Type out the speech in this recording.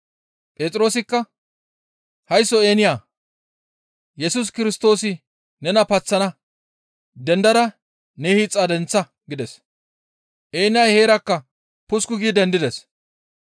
Phexroosikka, «Haysso Eeniya! Yesus Kirstoosi nena paththana; dendada ne hiixa denththa!» gides; Eeniyay heerakka pusuku gi dendides.